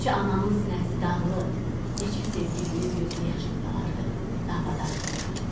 Neçə ananın sinəsi dağılır, neçə sevgilinin gözü yaşlı qalardı davadan sonra.